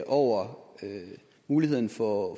over muligheden for